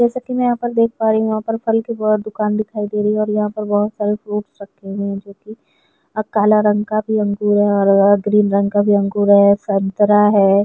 जैसा की मै यहाँ पर देख पा रही हु फल की बहुत दुकान दिखाई दे रही है और यह पर बहुत सारे फ्रूट्स रखे हुए है जो कि काला रंग भी अंगर है और यह ग्रीन रंग का भी अंगर है और संतरा है।